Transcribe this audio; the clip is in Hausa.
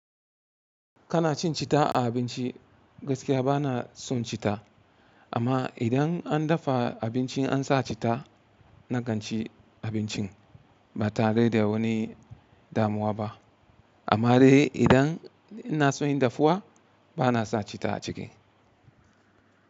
Kana cin cita a abinci gaskiya bana son cita amma idan an dafa abinci an sa cita na kanci abincin ba tare da wani damuwa ba amma dai idan ina soyin dafuwa bana sa cita a ciki.